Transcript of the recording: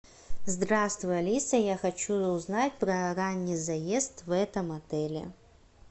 здравствуй алиса я хочу узнать про ранний заезд в этом отеле